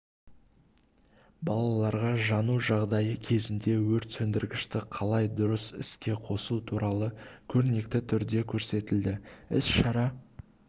балаларға жану жағдайы кезінде өрт сөндіргішті қалай дұрыс іске қосу туралы көрнекі түрде көрсетілді іс-шара